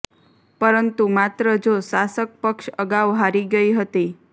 પરંતુ માત્ર જો શાસક પક્ષ અગાઉ હારી ગઇ હતી